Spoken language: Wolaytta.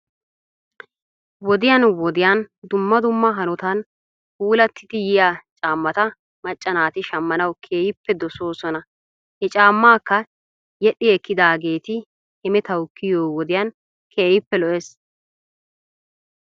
Wodiyan wodiyan dumma dumma hanotan puulattidi yiyaa caammata macca naati shammanawu keehippe dosoosona he caammaakka yedhdhi ekkidaageeti hemetawu kiyiyo wodiyan keehippe lo'ees.